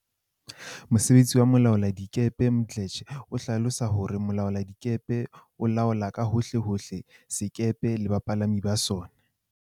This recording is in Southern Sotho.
Mosebetsi wa molaoladikepe Mdletshe o hlalosa hore Mo laoladikepe o laola ka hohle hohle sekepe le bapalami ba sona.